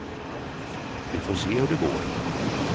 Vi får se hur det går.